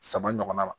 Sama ɲɔgɔnna ma